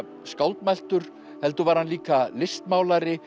skáldmæltur heldur var hann líka listmálari